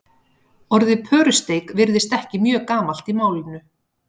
orðið pörusteik virðist ekki mjög gamalt í málinu